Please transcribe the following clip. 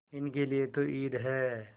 इनके लिए तो ईद है